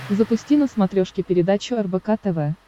запусти на смотрешке передачу рбк тв